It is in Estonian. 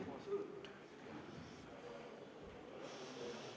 Me alustame 12. veebruari infotundi.